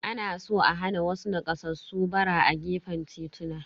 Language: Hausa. Ana so a hana wasu nakasassu ɓara a gefen tituna.